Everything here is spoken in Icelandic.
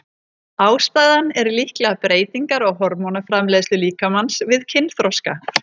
Ástæðan er líklega breytingar á hormónaframleiðslu líkamans við kynþroska.